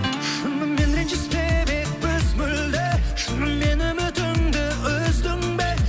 шынымен ренжіспеп едік біз мүлде шыныменен үмітіңді үздің бе